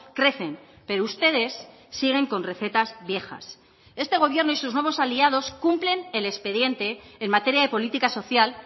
crecen pero ustedes siguen con recetas viejas este gobierno y sus vamos aliados cumplen el expediente en materia de política social